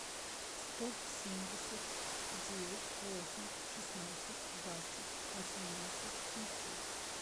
сто семьдесят девять восемь шестнадцать двадцать восемнадцать семьсот